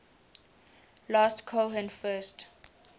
last cohen first